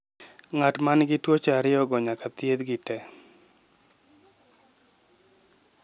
Ng'at ma nigi tuwoche ariyo go nyaka thiedhgi tee.